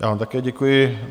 Já vám také děkuji.